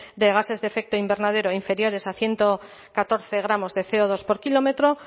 de gases de efecto invernadero inferiores a ciento catorce gramos de ce o dos por kilómetro